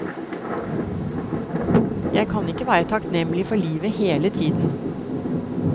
Jeg kan ikke være takknemlig for livet hele tiden.